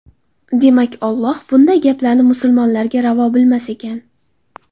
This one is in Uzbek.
Demak, Alloh bunday gaplarni musulmonlarga ravo bilmas ekan.